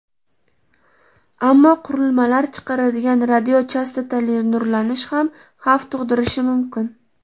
Ammo qurilmalar chiqaradigan radiochastotali nurlanish ham xavf tug‘dirishi mumkin.